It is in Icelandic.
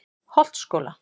Holtsskóla